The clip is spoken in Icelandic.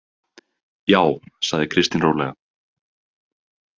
Já, sagði Kristín rólega.